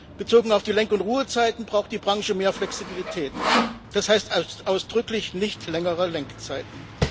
Bezogen auf die Lenk und Ruhezeiten braucht die Branche mehr Flexibilität, das heißt ausdrücklich nicht längere Lenkzeiten.